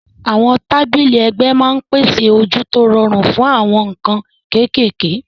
Àwọn tábìlì ẹ̀gbẹ́ máa ń pèsè ojú tó rọrùn fún àwọn nǹkan kéékèèké.